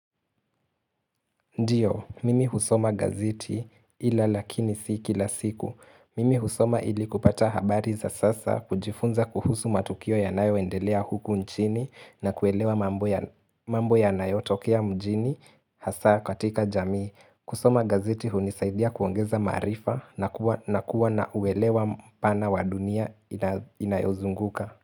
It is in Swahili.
Ndiyo, mimi husoma gazeti ila lakini sio kila siku. Mimi husoma ili kupata habari za sasa kujifunza kuhusu matukio yanayoendelea huku nchini na kuelewa mambo yanayotokea mjini hasa katika jamii. Kusoma gazeti hunisaidia kuongeza maarifa na kuwa na uelewa pana wa dunia inayozunguka.